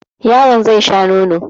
Yaron zai sha nono.